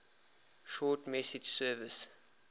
short message service